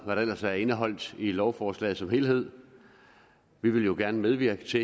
hvad der ellers er indeholdt i lovforslaget som helhed vi vil jo gerne medvirke til